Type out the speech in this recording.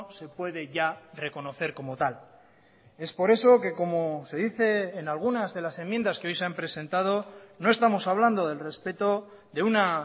se puede ya reconocer como tal es por eso que como se dice en algunas de las enmiendas que hoy se han presentado no estamos hablando del respeto de una